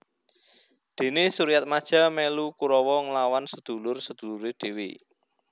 Dene Suryatmaja melu Kurawa nglawan sedulur sedulure dhewe